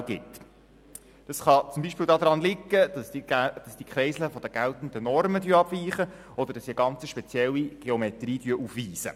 Das kann zum Beispiel daran liegen, dass die Kreisel von den geltenden Normen abweichen, oder dass sie eine spezielle Geometrie aufweisen.